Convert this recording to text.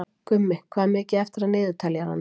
Gummi, hvað er mikið eftir af niðurteljaranum?